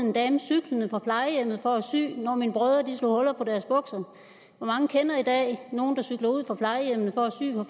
en dame cyklende fra plejehjemmet for at sy når mine brødre slog huller på deres bukser hvor mange kender i dag nogen der cykler ud fra plejehjemmene for at sy for